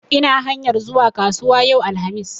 Ina hanyar zuwa kasuwa yau, alhamis